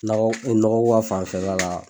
Nɔgɔ nɔgɔ ko ka fanfɛla la